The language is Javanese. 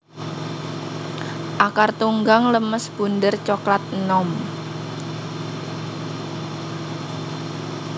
Akar Tunggang lemes bunder coklat enom